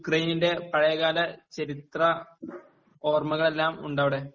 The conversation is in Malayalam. അതേ പോലെ യുക്രൈൻ നിന്റെ പഴയ കാല ചരിത്ര ഓർമകളെല്ലാം ഉണ്ട് അവിടെ